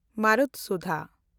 ᱢᱟᱨᱩᱛᱥᱩᱫᱷᱟ